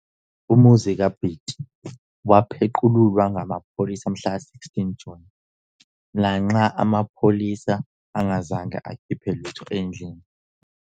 Umuzi kaBiti wapeqululwa ngamapholisa mhlaka 16 June, lanxa amapholisa engazange akhiphe lutho endlini.